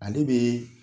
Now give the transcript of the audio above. Ale bɛ